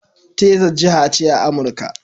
Texas, jiha ce a Amurka.